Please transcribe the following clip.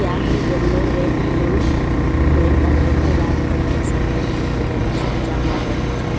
यहां में yellow red blue green colour का राउंड करके एक सर्कल भी दिखाई दे रहा है उसमें जंप मार रहे बच्चा लोग।